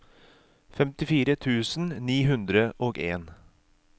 femtifire tusen ni hundre og en